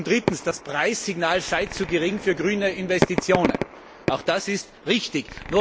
Drittens Das Preissignal sei zu gering für grüne Investitionen. Auch das ist richtig.